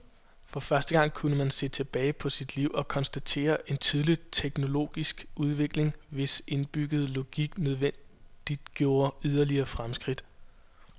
For første gang kunne man se tilbage på sit liv og konstatere en tydelig teknologisk udvikling, hvis indbyggede logik nødvendiggjorde yderligere fremskridt.